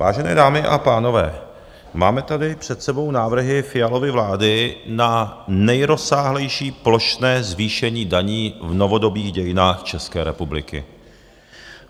Vážené dámy a pánové, máme tady před sebou návrhy Fialovy vlády na nejrozsáhlejší plošné zvýšení daní v novodobých dějinách České republiky.